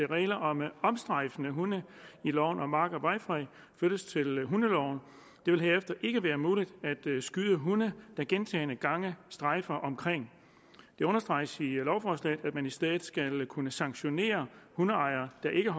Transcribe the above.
regler om omstrejfende hunde i loven om mark og vejfred flyttes til hundeloven det vil herefter ikke være muligt at skyde hunde der gentagne gange strejfer omkring det understreges i lovforslaget at man i stedet skal kunne sanktionere hundeejere der ikke